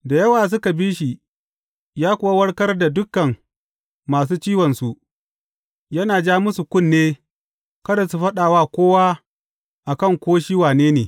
Da yawa suka bi shi, ya kuwa warkar da dukan masu ciwonsu, yana jan musu kunne kada su faɗa wa kowa akan ko shi wane ne.